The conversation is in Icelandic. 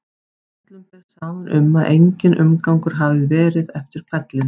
Öllum ber saman um að enginn umgangur hafi verið eftir hvellinn.